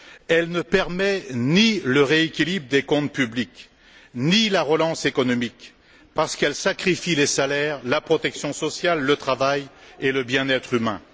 Elle ne permet ni le rééquilibrage des comptes publics ni la relance économique, parce qu'elle sacrifie les salaires, la protection sociale, le travail et le bien être humain.